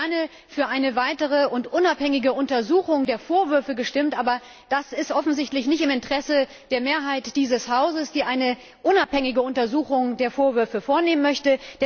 Ich hätte gerne für eine weitere und unabhängige Untersuchung der Vorwürfe gestimmt, aber das ist offensichtlich nicht im Interesse der Mehrheit dieses Hauses, die eine unabhängige Untersuchung der Vorwürfe vornehmen möchte.